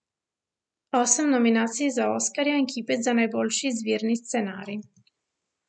Osem nominacij za oskarja in kipec za najboljši izvirni scenarij.